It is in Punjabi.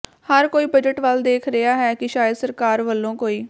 ਹਰ ਕੋਈ ਬਜਟ ਵੱਲ ਦੇਖ ਰਿਹਾ ਹੈ ਕਿ ਸ਼ਾਇਦ ਸਰਕਾਰ ਵੱਲੋਂ ਕੋਈ